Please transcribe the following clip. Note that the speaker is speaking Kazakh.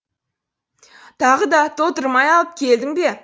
тағы да толтырмай алып келдің бе